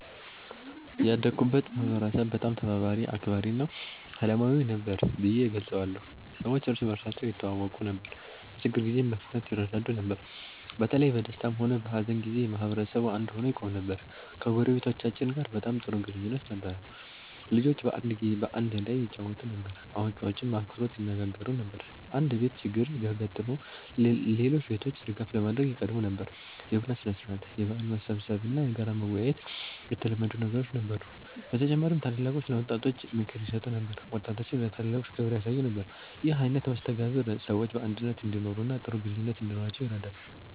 ያደግኩበትን ማህበረሰብ በጣም ተባባሪ፣ አክባሪ እና ሰላማዊ ነበር ብዬ እገልጸዋለሁ። ሰዎች እርስ በርሳቸው ይተዋወቁ ነበር፣ በችግር ጊዜም በፍጥነት ይረዳዱ ነበር። በተለይ በደስታም ሆነ በሀዘን ጊዜ ማህበረሰቡ አንድ ሆኖ ይቆም ነበር። ከጎረቤቶቻችን ጋር በጣም ጥሩ ግንኙነት ነበረን። ልጆች በአንድ ላይ ይጫወቱ ነበር፣ አዋቂዎችም በአክብሮት ይነጋገሩ ነበር። አንድ ቤት ችግር ቢያጋጥመው ሌሎች ቤቶች ድጋፍ ለማድረግ ይቀድሙ ነበር። የቡና ሥነ-ሥርዓት፣ የበዓል መሰብሰብ እና በጋራ መወያየት የተለመዱ ነገሮች ነበሩ። በተጨማሪም ታላላቆች ለወጣቶች ምክር ይሰጡ ነበር፣ ወጣቶችም ለታላላቆች ክብር ያሳዩ ነበር። ይህ አይነት መስተጋብር ሰዎች በአንድነት እንዲኖሩ እና ጥሩ ግንኙነት እንዲኖራቸው ይረዳ ነበር።